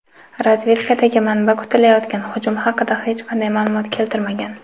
Razvedkadagi manba kutilayotgan hujum haqida hech qanday ma’lumot keltirmagan.